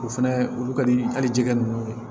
O fɛnɛ olu ka di hali jɛgɛ ninnu ye